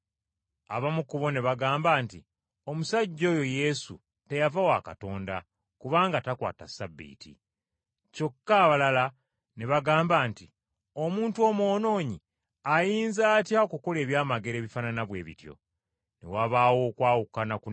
Abamu ku bo ne bagamba nti, “Omusajja oyo Yesu teyava wa Katonda kubanga takwata Ssabbiiti.” Kyokka abalala ne bagamba nti, “Omuntu omwonoonyi ayinza atya okukola eby’amagero ebifaanana bwe bityo?” Ne wabaawo okwawukana kunene mu bo.